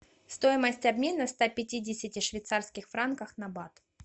стоимость обмена ста пятидесяти швейцарских франков на бат